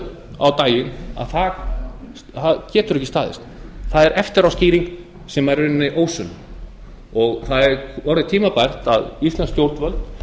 komið á daginn að það getur ekki staðist það er eftiráskýring sem er i rauninni ósönn og það er orðið tímabært að íslensk stjórnvöld